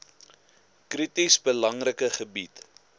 krities belangrike gebied